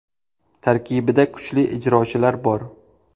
Tarkibida kuchli ijrochilar bor.